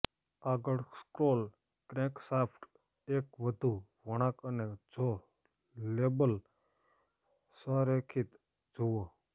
આગળ scroll crankshaft એક વધુ વળાંક અને જો લેબલ સંરેખિત જુઓ